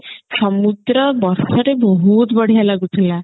ସମୁଦ୍ର ବର୍ଷାରେ ବହୁତ ବଢିଆ ଲାଗୁଥିଲା